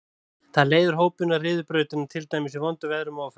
Það leiðir hópinn og ryður brautina, til dæmis í vondum veðrum og ófærð.